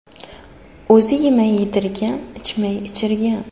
O‘zi yemay yedirgan, ichmay ichirgan.